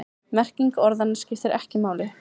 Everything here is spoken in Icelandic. Merking orðanna skiptir ekki máli.